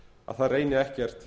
að það reyni ekkert